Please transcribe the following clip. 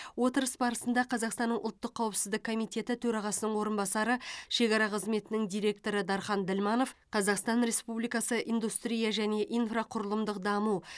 отырыс барысында қазақстанның ұлттық қауіпсіздік комитеті төрағасының орынбасары шекара қызметінің директоры дархан ділманов қазақстан республикасы индустрия және инфрақұрылымдық даму